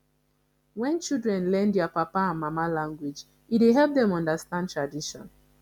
when children learn their papa and mama language e dey help dem understand tradition